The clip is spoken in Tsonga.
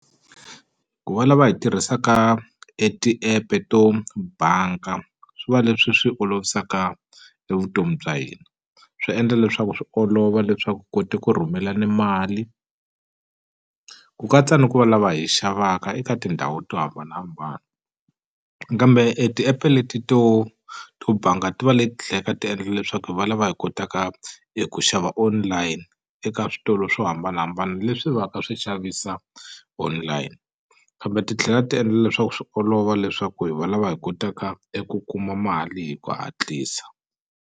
Ku va lava hi tirhisaka e ti-app-e to banka swi va leswi swi olovisaka e vutomi bya hina swi endla leswaku swi olova leswaku koti ku rhumela ni mali ku katsa ni ku va lava hi xavaka eka tindhawu to hambanahambana kambe e ti-app-e leti to to banga ti va leti ti endla leswaku hi valava hi kotaka hi ku xava online eka switolo swo hambanahambana leswi va ka swi xavisa online kambe titlhela ti endla leswaku swi olova leswaku hi valava hi kotaka eku kuma mali hi ku hatlisa.